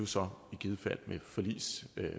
så i givet fald